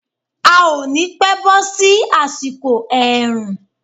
A ò ni pẹ́ bọ́ sí àsìkò ẹ̀rùn.